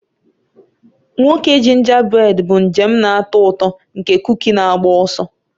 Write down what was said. Nwoke jinjabréd bụ njem na-atọ ụtọ nke kukí na-agba ọsọ.